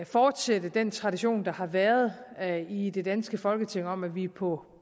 fortsætte den tradition der har været i det danske folketing om at vi på